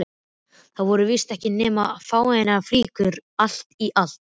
Þetta voru víst ekki nema fáeinar flíkur allt í allt.